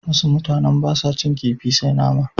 Wasu mutanen ba sa cin kifi sai nama.